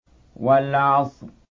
وَالْعَصْرِ